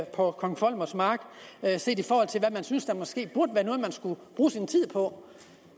på kong volmers mark set i forhold til hvad jeg synes der måske burde være noget man skulle bruge sin tid på